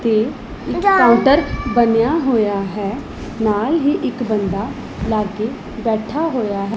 ਤੇ ਇੱਕ ਕਾਊਂਟਰ ਬਣਿਆ ਹੋਇਆ ਹੈ ਨਾਲ ਹੀ ਇੱਕ ਬੰਦਾ ਲਾਗੇ ਬੈਠਾ ਹੋਇਆ ਹੈ।